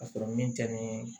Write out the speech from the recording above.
Ka sɔrɔ min tɛ ni